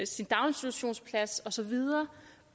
sin daginstitutionsplads og så videre